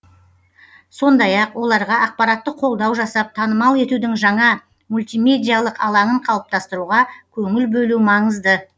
сондай ақ оларға ақпараттық қолдау жасап танымал етудің жаңа мультимедиалық алаңын қалыптастыруға көңіл бөлу маңызды